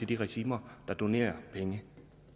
de regimer der donerer penge